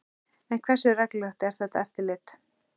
En hversu reglulegt er þetta eftirlit?